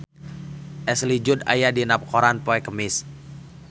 Ashley Judd aya dina koran poe Kemis